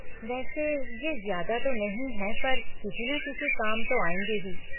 वैसे ये ज्यादा तो नहीं है पर किसी ना किसी काम तो आएँगे ही।